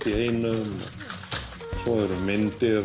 í einum svo eru myndir